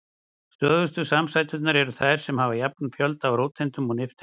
Stöðugustu samsæturnar eru þær sem hafa jafnan fjölda af róteindum og nifteindum.